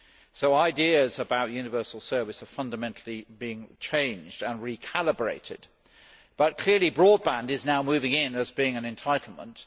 So ideas about universal service are being fundamentally changed and recalibrated, but clearly broadband is now moving in as being an entitlement.